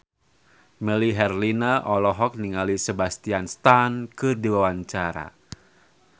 Melly Herlina olohok ningali Sebastian Stan keur diwawancara